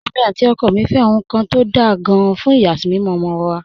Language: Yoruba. Èmi àti ọkọ mi fẹ́ ohun kan tó dáa gan-an fún ìyàsímímọ́ ọmọ wa